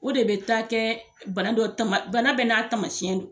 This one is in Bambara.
O de be taa kɛ bana dɔ tama bana bɛɛ n'a tamasiyɛn don